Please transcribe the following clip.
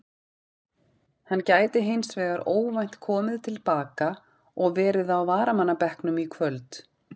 Hann gæti hins vegar óvænt komið til baka og verið á varamannabekknum í kvöld.